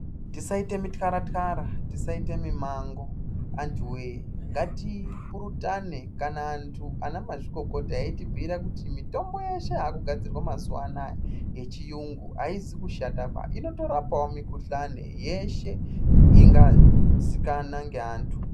Tisaite mityara tyara, tisaite mimango antuwee, ngatipurutane kana antu ana mazvikokota eyitibhuira kuti mitombo yeshe yakugadzirwa mazuwa anaya yechiyungu ayizi kushataba. Inotorapawo mikhuhlane yeshe ingazikana ngeantu.